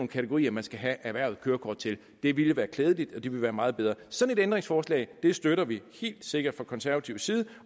kategorier man skal have erhvervet kørekort til det ville være klædeligt og det ville være meget bedre sådan et ændringsforslag støtter vi helt sikkert fra konservativ side